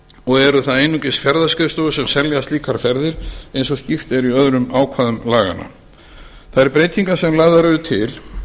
og eru það einungis ferðaskrifstofur sem selja slíkar ferðir eins og skýrt er í öðrum ákvæðum laganna þær breytingar sem lagðar eru til